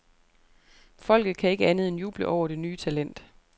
Folket kan ikke andet end juble over det nye talent.